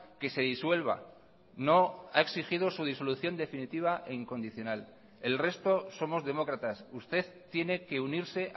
que se disuelva no ha exigido su disolución definitiva e incondicional el resto somos demócratas usted tiene que unirse